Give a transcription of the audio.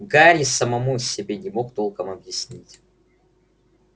гарри самому себе не мог толком объяснить